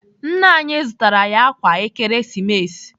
Nna anyị zụtara anyị ákwà Ekeresimesi.